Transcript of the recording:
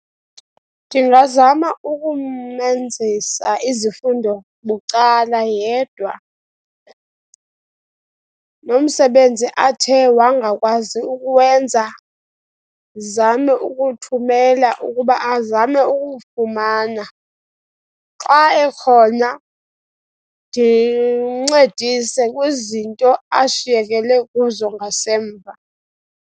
Ndingazama ukumenzisa izifundo bucala yedwa, nomsebenzi athe wangakwazi ukuwenza, ndizame ukuthumela ukuba azame ukuwufumana. Xa ekhona, ndimncedise kwizinto ashiyekele kuzo ngasemva.